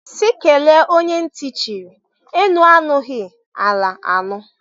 Sị kelee onye ntị chiri, enu anụghi, ala anụ.